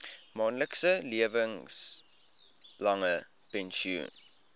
maandelikse lewenslange pensioen